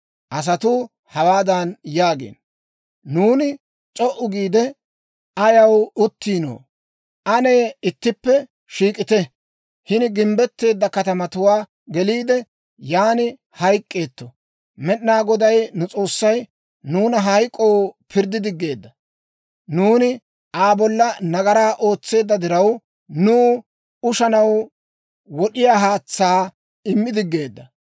Asatuu hawaadan yaagiino; «Nuuni c'o"u giide ayaw uttiinoo? Ane ittippe shiik'ite; hini gimbbetteedda katamatuwaa geliide, yaan hayk'k'eetto. Med'inaa Goday nu S'oossay nuuna hayk'k'oo pirddi diggeedda; nuuni Aa bolla nagaraa ootseedda diraw, nuw ushanaw wod'iyaa haatsaa immi diggeedda.